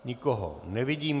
Nikoho nevidím.